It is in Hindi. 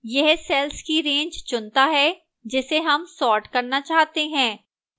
यह cells की range चुनता है जिसे हमें sort करना चाहते हैं